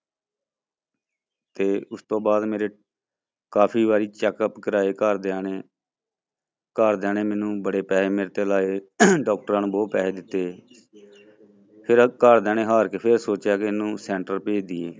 ਤੇ ਉਸ ਤੋਂ ਬਾਅਦ ਮੇਰੇ ਕਾਫ਼ੀ ਵਾਰੀ checkup ਕਰਵਾਏ ਘਰਦਿਆਂ ਨੇ ਘਰਦਿਆਂ ਨੇ ਮੈਨੂੰ ਬੜੇ ਪੈਸੇ ਮੇਰੇ ਤੇ ਲਾਏ ਡਾਕਟਰਾਂ ਨੂੰ ਬਹੁਤ ਪੈਸੇ ਦਿੱਤੇ ਫਿਰ ਘਰਦਿਆਂ ਨੇ ਹਾਰ ਕੇ ਫਿਰ ਸੋਚਿਆ ਵੀ ਇਹਨੂੰ center ਭੇਜ ਦੇਈਏ।